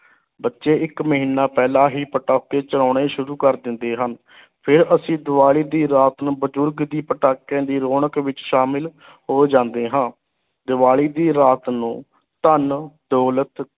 ਬੱਚੇ ਇੱਕ ਮਹੀਨਾ ਪਹਿਲਾਂ ਹੀ ਪਟਾਕੇ ਚਲਾਉਣੇ ਸ਼ੁਰੂ ਕਰ ਦਿੰਦੇ ਹਨ ਫਿਰ ਅਸੀਂ ਦੀਵਾਲੀ ਦੀ ਰਾਤ ਨੂੰ ਬਜ਼ੁਰਗ ਵੀ ਪਟਾਕਿਆਂ ਦੀ ਰੌਣਕ ਵਿੱਚ ਸ਼ਾਮਲ ਹੋ ਜਾਂਦੇ ਹਾਂ, ਦੀਵਾਲੀ ਦੀ ਰਾਤ ਨੂੰ ਧਨ ਦੌਲਤ